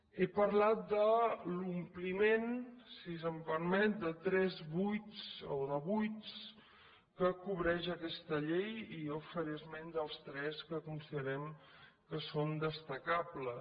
he parlat d’omplir si se’m permet de tres buits o de buits que cobreix aquesta llei i jo faré esment dels tres que considerem que són destacables